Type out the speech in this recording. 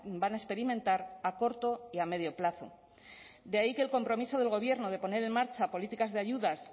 van a experimentar a corto y a medio plazo de ahí que el compromiso del gobierno de poner en marcha políticas de ayudas